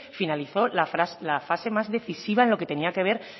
finalizó la fase más decisiva en lo que tenía que ver